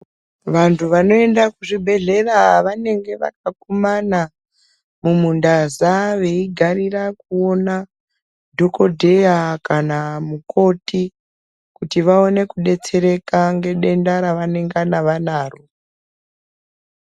Vantu vanoende kuzvibhedleya, vanenge vakakumana mumundaza veyigarira kuwona dhokodheya kana mukoti kuti vawane kudetsereka ngendenda ravanenge vanaro.